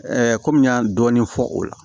komi n y'a dɔɔnin fɔ o la